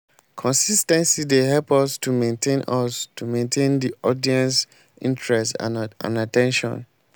consis ten cy dey help us to maintain us to maintain di audience's interest and at ten tion.